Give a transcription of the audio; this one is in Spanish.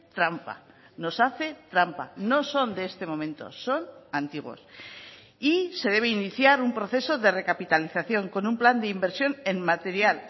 trampa nos hace trampa no son de este momento son antiguos y se debe iniciar un proceso de recapitalización con un plan de inversión en material